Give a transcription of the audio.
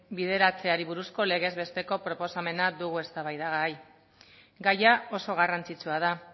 bideratzeari buruzko legezbesteko proposamena dugu eztabaidagai gaia oso garrantzitsua da